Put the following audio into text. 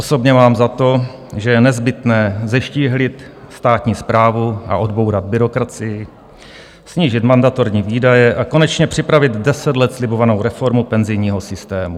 Osobně mám za to, že je nezbytné zeštíhlit státní správu a odbourat byrokracii, snížit mandatorní výdaje a konečně připravit deset let slibovanou reformu penzijního systému.